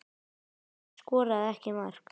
Rut skoraði ekki mark.